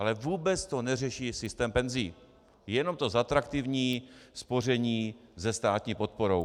Ale vůbec to neřeší systém penzí, jenom to zatraktivní spoření se státní podporou.